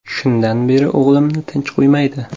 Shundan beri o‘g‘limni tinch qo‘ymaydi.